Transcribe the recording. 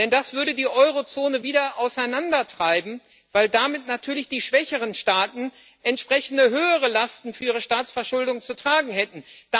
Das würde die Eurozone wieder auseinandertreiben, weil damit natürlich die schwächeren Staaten entsprechende höhere Lasten für ihre Staatsverschuldung zu tragen hätten.